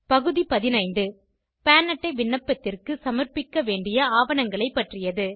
பகுதி 15 பான் அட்டை விண்ணப்பத்திற்கு சமர்பிக்க வேண்டிய ஆவணங்களை பற்றியது